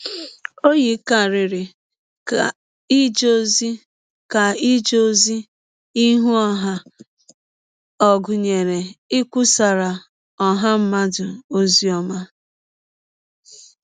Ọ yikarịrị ka ije ọzi ka ije ọzi ihụ ọha a ọ̀ gụnyere ikwụsara ọha mmadụ ọzi ọma.